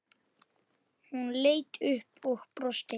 Hún leit upp og brosti.